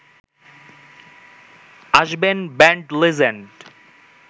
আসবেন band legend